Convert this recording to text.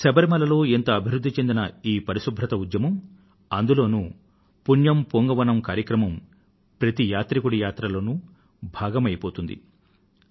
శబరిమల లో ఇంత అభివృధ్ధి చెందిన ఈ పరిశుభ్రత ఉద్యమం అందులోనూ పుణ్యం పూంగవనమ్ కార్యక్రమం ప్రతి యాత్రికుడి యాత్రలో భాగమైపోతుంది